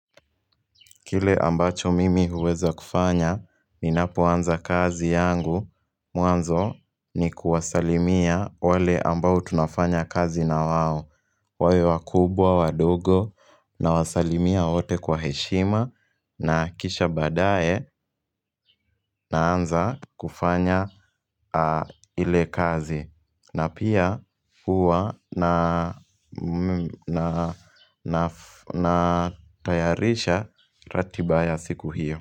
Kile ambacho mimi huweza kufanya, ninapa anza kazi yangu, mwanzo ni kuwasalimia wale ambao tunafanya kazi na wao. Wawe wakubwa, wadogo, na wasalimia wote kwa heshima, na kisha baadae, na anza kufanya ile kazi. Na pia huwa na tayarisha ratiba ya siku hiyo.